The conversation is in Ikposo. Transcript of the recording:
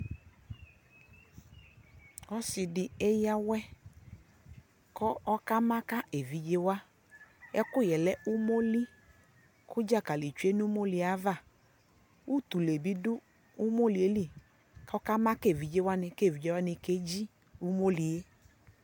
ɔsiidi ɛyawɛ kʋ ɔka maka ɛvidzɛ wa, ɛkʋyɛ lɛ ʋmɔli kʋ dzakali twɛnʋ ʋmɔliɛ aɣa, ʋtʋlɛ bi dʋ ʋmɔliɛ li kʋ ɔkama ka ɛvidzɛ wani kʋ ɛvidzɛ wani kɛji ʋmɔliɛ